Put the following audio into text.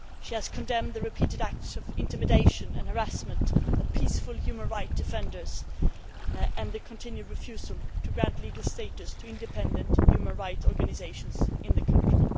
She has condemned the repeated acts of intimidation and harassment of peaceful human rights defenders and the continued refusal to grant legal status to independent human rights organisations in the country.